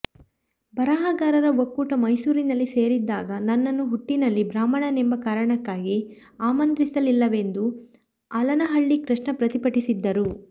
ಬರಹಗಾರರ ಒಕ್ಕೂಟ ಮೈಸೂರಿನಲ್ಲಿ ಸೇರಿದ್ದಾಗ ನನ್ನನ್ನು ಹುಟ್ಟಿನಲ್ಲಿ ಬ್ರಾಹ್ಮಣನೆಂಬ ಕಾರಣಕ್ಕಾಗಿ ಆಮಂತ್ರಿಸಲಿಲ್ಲವೆಂದು ಆಲನಹಳ್ಳಿ ಕೃಷ್ಣ ಪ್ರತಿಭಟಿಸಿದ್ದರು